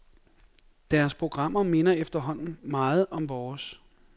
Deres programmer minder efterhånden meget om vores.